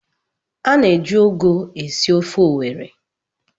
A na-eji ụgụ esi ofe owerri